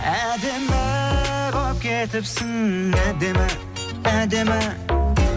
әдемі болып кетіпсің әдемі әдемі